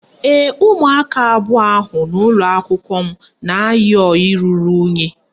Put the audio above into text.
Ee, umụaka abụọ ahụ n'ụlọakwụkwọ m na-ayi ọyị ruru unyị